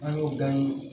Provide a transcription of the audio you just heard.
An y'o danni